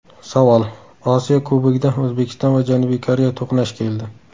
Savol: Osiyo Kubogida O‘zbekiston va Janubiy Koreya to‘qnash keldi.